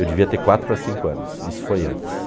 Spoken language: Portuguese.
Eu devia ter quatro para cinco anos, isso foi antes.